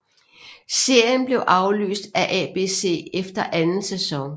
Serien blev aflyst af ABC efter anden sæson